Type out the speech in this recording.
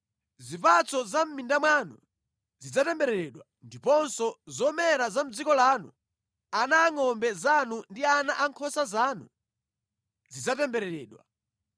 Zipatso za mʼmimba mwanu zidzatembereredwa, ndiponso zomera za mʼdziko lanu, ana angʼombe zanu ndi ana ankhosa zanu zidzatembereredwa.